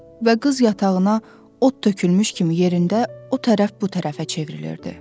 Və qız yatağına od tökülmüş kimi yerində o tərəf bu tərəfə çevrilirdi.